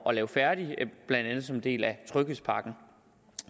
at lave færdig blandt andet som en del af tryghedspakken